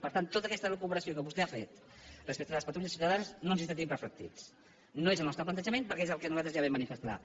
per tant en tota aquesta elucubració que vostè ha fet respecte de les patrulles ciutadanes no ens hi sentim reflectits no és el nostre plantejament perquè és el que nosaltres ja vam manifestar